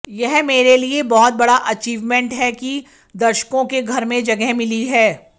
यह मेरे लिए बहुत बड़ा अचीवमेंट है कि दर्शकों के घर में जगह मिली है